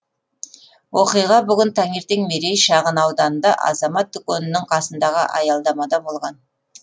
оқиға бүгін таңертең мерей шағын ауданында азамат дүкенінің қасындағы аялдамада болған